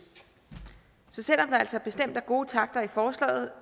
så selv om der altså bestemt er gode takter i forslaget